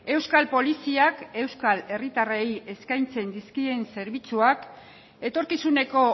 euskal poliziak euskal herritarrei eskaintzen dizkien zerbitzuak etorkizuneko